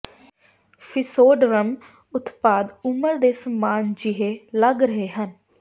ਫਿਸੋਡਰਮ ਉਤਪਾਦ ਉਮਰ ਦੇ ਸਮਾਨ ਜਿਹੇ ਲੱਗ ਰਹੇ ਹਨ